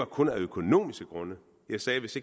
kun var af økonomiske grunde jeg sagde at hvis